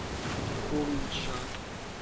кульджа